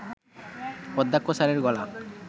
অধ্যক্ষ স্যারের গলা